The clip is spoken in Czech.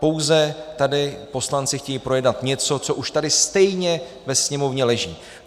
Pouze tady poslanci chtějí projednat něco, co už tady stejně ve Sněmovně leží.